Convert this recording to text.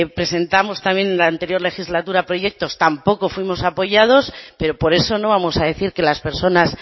presentamos también en la anterior legislatura proyectos tampoco fuimos apoyados pero por eso no vamos a decir que las personas